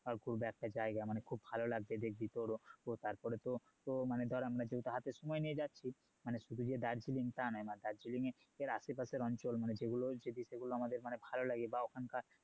ধর ঘুরবো একসাথে একটা জায়গা মানে খুব ভালো লাগবে দেখবি তোরও তো তাপরে তো~ তো আমরা ধর যেহুতু হাতে সময় নিয়ে যাচ্ছি মানে শুধু যে দার্জিলিং তা নয় মানে দার্জিলিং এর আসে পাশের অঞ্চল যেগুলো যদি সেগুলো আমাদের ভালো লাগে বা ওখানকার